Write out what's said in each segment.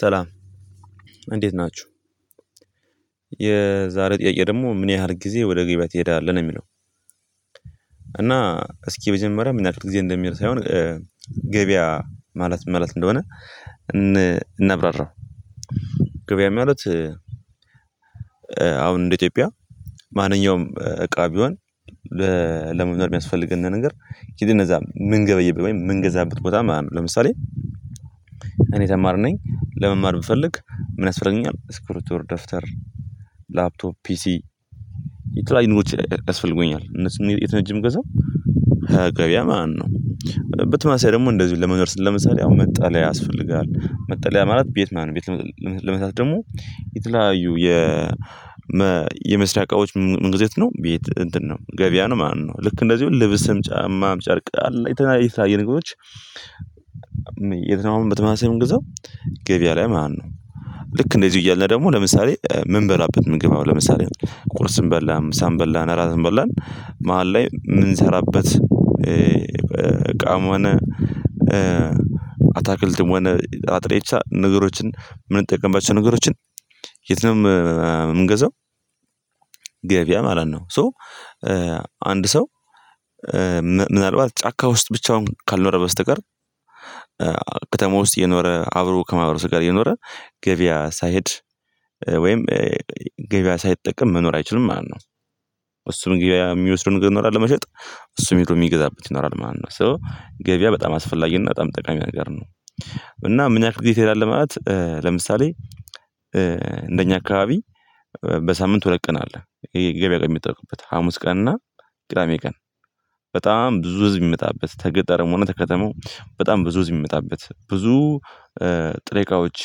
ሰላም እንዴት ናችሁ። የዛሬ ጥያቄ ደግሞ ምን ያህል ጊዜ ወደ ገበያ ትሄዳለህ ነው የሚለው? እና እስኪ መጀመሪያ ምን ያህል ጊዜ እንደምሄድ ሳይሆን ገበያ ማለት ምን ማለት እንደሆነ እናብራራው። ገበያ ማለት አሁን እንደ ኢትዮጵያ ማንኛውም እቃ ቢሆን ለመግዛት የሚያስፈልገነ ነገር ሂደን ኧዛ ምንገበይበት ወይም ምንገዛበት ቦታማለት ነው። ለምሳሌ እኔ ተማሪ ነኝ ለመማር ብፈልግ ምን ያስፈልገኛል ስክሪቶር ደፍተር ላፕቶፕ ፒሲ የተለያዩ ኑሮች ያስፈልጉኛል እነሱን የትነው ሄጄ ምገዛም ኸገበያ ማለት ነው። በተመሳሳይ ደግሞ እንደዚሁ ለመኖር ስለ ምሳሌ መጠለያ ያስፈልጋል መጠለያ ማለት ቤት ማለት ነው ቤት ልመሳት ደግሞ የተለያዩ የመስሪያ እቃዎች ምንጊዜ የት ነው ቤት እንትን ነው ገበያ ነው ማለት ነው። ልክ እንደዚሁ ልብስም ጫማም ጨርቅ አለ የተለያየ የተለያየ ነገሮች የትኛውም በተመሳሳይ ምንገዛው ገቢያ ላይ ማለት ነው። ልክ እንደዚሁ እያልነ ደግሞ ለምሳሌ ምንበላበት ምግብ አሁን ለምሳሌ ቁርስም በላን ምሳም በላን እራትም በላን መሃል ላይ የምንሰራበት በቃም ሆነ አታክልትም ሆነ አጥሬቻ ነገሮችን የምንጠቀምባቸው ነገሮችን የት ነው ምንገዛው ገበያ ማለት ነው። ሶ አንድ ሰው ምናልባት ጫካ ውስጥ ብቻውን ካልኖረ በስተቀር ከተማ ውስጥ የኖረ አብሮ ከማህበረሰብ ጋር የኖረ ገበያ ሳይሄድ ወይም ገበያ ሳይጠቀም መኖር አይችልም ማለት ነው። እሱም ገበያ የሚወስደው ነገር ይኖራል ለመሸጥ እሱም ሄዶ የሚገዛበት ይኖራል ማለት ነው። ሶ ገበያ በጣም አስፈላጊና በጣም ጠቃሚ ነገር ነው። እና ምን ያክል ጊዜ ትሄዳለህ ማለት ለምሳሌ እንደኛ አካባቢ በሳምንት ሁለት ቀን አለ ይሄ ገበያ ላይ የሚጠሉበት ሀሙስ ቀን እና ቅዳሜ ቀን በጣም ብዙ ህዝብ የሚመጣበት ተገጠረም ሆነ ከከተማው በጣም ብዙ ህዝብ የሚመጣበት ብዙ ጥሬ እቃዎች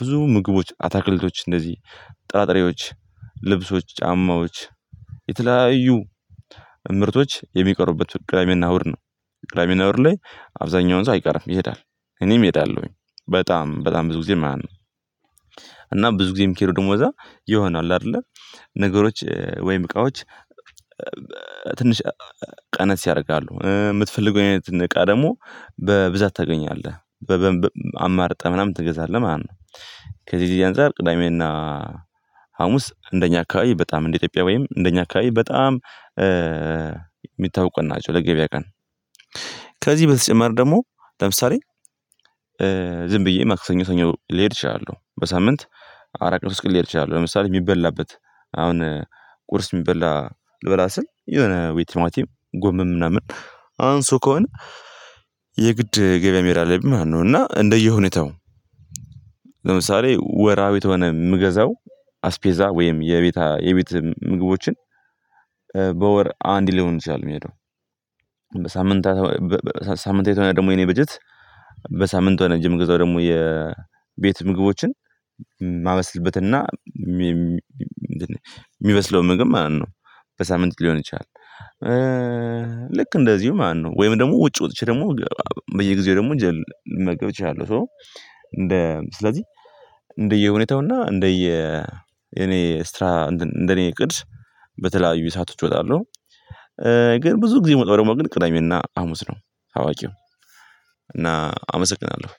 ብዙ ምግቦች አታክልቶች እንደዚህ ጥራጥሬዎች ልብሶች ጫማዎች የተለያዩ ምርቶች የሚቀሩበት ቅዳሜና እሁድ ነው። ቅዳሜና እሁድ ላይ አብዛኛውን ሰው አይቀርም ይሄዳል እኔም እሄዳለሁኝ በጣም በጣም ብዙ ጊዜ ማለት ነው። እና ብዙ ጊዜ የሚኬደው ደግሞ እዛ የሆነ አለ አይደለ ነገሮች ወይም እቃዎች ትንሽ ቀነስ ያደርጋሉ የምትፈልገውን እውነት እቃ ደግሞ በብዛት ታገኛለህ በ አማርጠህ ምናምን ትገዛለህ ማለት ነው። ከዚህ የዚህ አንፃር ቅዳሜና ሀሙስ እንደኛ አካባቢ በጣም እንደ ኢትዮጵያ ወይም እንደኛ አካባቢ በጣም የሚታወቁ ቀን ናቸው። ለገበያ ቀን ከዚህ በተጨማሪ ደግሞ ለምሳሌ ዝም ብዬ ማክሰኞ ሰኞ ልሄድ እችላለሁ በሳምንት አራት ቀን ሶስት ቀን ልሄድ ይችላለሁ። ለምሳሌ የሚበላበት አሁን ቁርስ የሚበላ ልበላ ስል የሆነ ወይ ቲማቱም ጎመን ምናምን አንሶ ከሆነ የግድ ገበያ መሄድ አለብኝ ማለት ነው። እና እንደየ ሁኔታው ለምሳሌ ወራዊ ተሆነ የምገዛው አስቤዛ ወይም የቤት የቤት ምግቦችን በወር አንድ ሊሆን ይችላል። የሚሄደው በሳምንታ ሳምንታዊ ተሆነ ደግሞ የኔ በጀት በሳምንት ከሆነ ሄጄ ምገዛው ደግሞ የቤት ምግቦችን ማበስልበት እና የሚበስለው ምግብ ማለት ነው በሳምንት ሊሆን ይችላል። ልክ እንደዚሁ ማለት ነው ወይም ደግሞ ውጭ ወጥቼ ደግሞ በየጊዜው ደግሞ እንጀራ ልመገብ እችላለሁ። ሶ እንደ ስለዚህ እንደየ ሁኔታውና እንደየ እኔ ስትራ እንትን እንደኔ ቅድስ በተለያዩ ሰአቶች እወጣለሁ። ግን ብዙ ጊዜ ምወጣው ደግሞ ግን ቅዳሜና አሙስ ነው አዋቂው እና አመሰግናለሁ